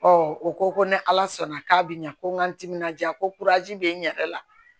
o ko ko ni ala sɔnna k'a bɛ ɲɛ ko n ka n timinandiya ko bɛ n yɛrɛ la